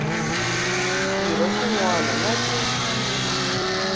xirho xin wana na xin